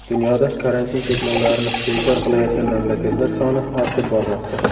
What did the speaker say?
Dunyoda karantin cheklovlarini bekor qilayotgan mamlakatlar soni ortib bormoqda.